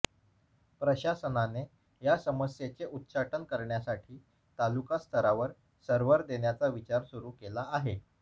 प्रशासनाने या समस्येचे उच्चाटन करण्यासाठी तालुका स्तरावर सर्व्हर देण्याचा विचार सुरू केला आहे